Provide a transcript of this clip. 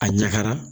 A ɲagara